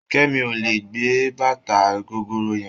Ṣìkẹ́mi ò lè gbé bàtà gogoro yẹn.